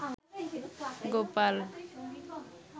Gopal